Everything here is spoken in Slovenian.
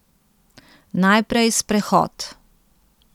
Najprej sprehod.